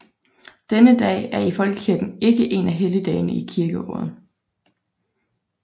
Denne dag er i Folkekirken ikke en af helligdagene i kirkeåret